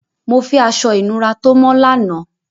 Mo fẹ́ aṣọ-ìnùra tó mọ́ lánàá!